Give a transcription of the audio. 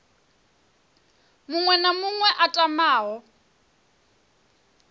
muṅwe na muṅwe a tamaho